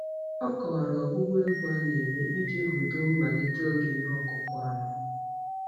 Ọ kọwara ọgbụgba egwu a na-eme iji hudo mmalite oge ihe ọkụkụ ama.